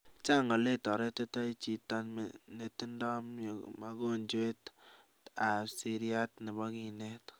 chang oleketaretitoi chito netindoi mogonjwet ap seriat nepo kinet